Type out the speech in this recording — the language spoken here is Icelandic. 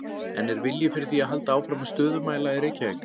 En er vilji fyrir því að halda áfram með stöðumæla í Reykjavík?